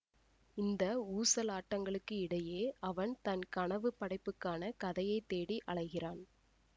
இந்த ஊசலாட்டங்களுக்கு இடையே அவன் தன் கனவு படைப்புக்கான கதையை தேடி அலைகிறான்